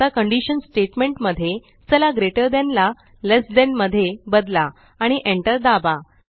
आता condition statement मध्ये चला ग्रेटर थान ला लेस थान मध्ये बदला आणि Enter दाबा